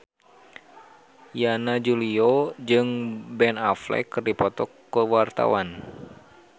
Yana Julio jeung Ben Affleck keur dipoto ku wartawan